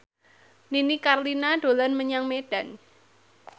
Nini Carlina dolan menyang Medan